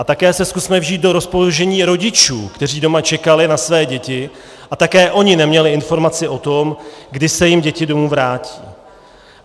A také se zkusme vžít do rozpoložení rodičů, kteří doma čekali na své děti a také oni neměli informace o tom, kdy se jim děti domů vrátí.